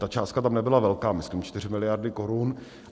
Ta částka tam nebyla velká, myslím 4 miliardy korun.